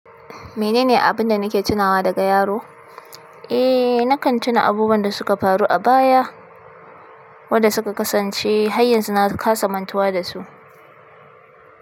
Menene abin da nake tunawa daga yaro? Eh, na kan tuna abubuwan da suka faru a baya, wadda suka kasance haryanzu na kasa mantuwa da su.